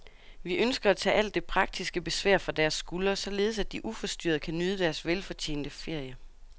Vi ønsker at tage alt det praktiske besvær fra deres skuldre, således at de uforstyrret kan nyde deres velfortjente ferie.